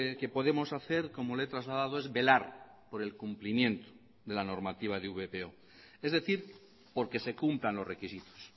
que podemos hacer como le he trasladado es velar por el cumplimiento de la normativa de vpo es decir porque se cumplan los requisitos